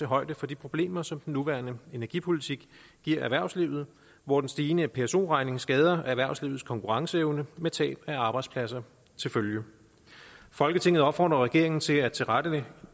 højde for de problemer som den nuværende energipolitik giver erhvervslivet hvor den stigende pso regning skader erhvervslivets konkurrenceevne med tab af arbejdspladser til følge folketinget opfordrer regeringen til at tilrettelægge